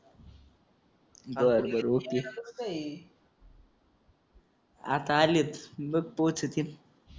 बरबर ओके आता आलेत बघ पोचतील